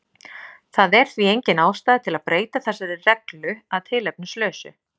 Það er því engin ástæða til að breyta þessari reglu að tilefnislausu.